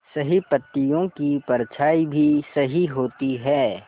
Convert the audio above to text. सही पत्तियों की परछाईं भी सही होती है